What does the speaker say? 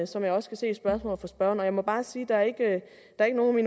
som jeg også kan se i spørgsmålet fra spørgeren og jeg må bare sige at der ikke er nogen af